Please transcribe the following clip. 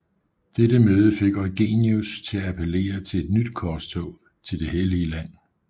Dette møde fik Eugenius til appellere til et nyt korstog til det Hellige land